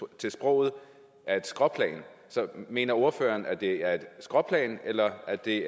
til sproget er et skråplan så mener ordføreren at det er et skråplan eller at det